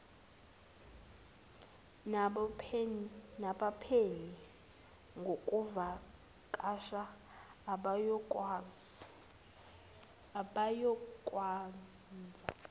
nabaphenyi ngokuvakasha abayokwenza